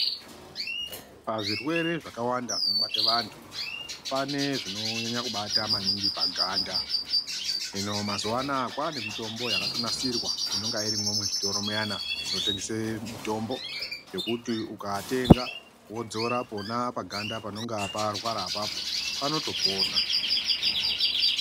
Pazvirwere zvakawanda zvinobate vantu, pane zvinonyanya kubata maningi paganda. Hino mazuwa anaya kwaane mitombo yakatonasirwa, inonga irimwo muzvitoro muyana, zvinotengese mitombo yekuti ukatenga, wodzora pona paganda panonga parwara apapo, panotopona.